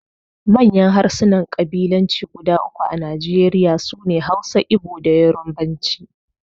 Manyan harsunan kabilanci guda uku a Najeriya su ne Hausa, Igbo, da Yarbanci.